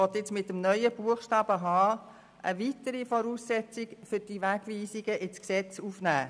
Mit dem neuen Buchstaben h möchte die Kommissionsmehrheit eine weitere Voraussetzung für Wegweisungen in das Gesetz aufnehmen.